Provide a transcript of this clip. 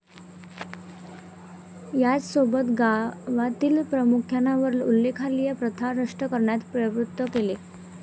याचसोबत गावातील प्रमुखांना वर उल्लेखलेल्या प्रथा नष्ट करण्यास प्रवृत्त केले.